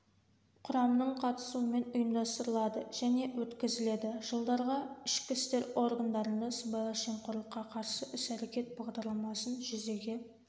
құрамның қатысуымен ұйымдастырылады және өткізіледі жылдарға ішкі істер органдарында сыбайлас жемқорлыққа қарсы іс-әрекет бағдарламасын жүзеге